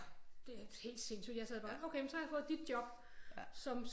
Det er helt sindssygt jeg sad bare okay men så har jeg fået dit job som